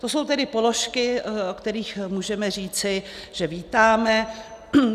To jsou tedy položky, o kterých můžeme říci, že vítáme.